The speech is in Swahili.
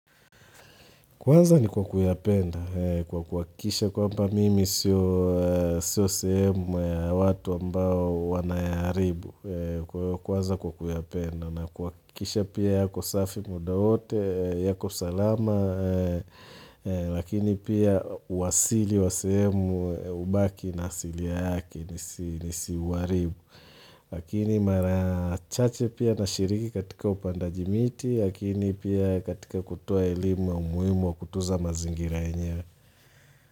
Kwanza ni kwa kuyapenda, kwa kuhakikisha kwamba mimi sio sehemu ya watu ambao wanayaharibu, kwanza kwa kuyapenda na kuhakikisha pia yako safi muda wote, yako salama, lakini pia uasili wa sehemu hubaki na asilia yake nisiuharibu. Lakini mara chache pia nashiriki katika upandaji miti lakini pia katika kutoa elimu ya umuhimu wa kutunza mazingira yenyewe.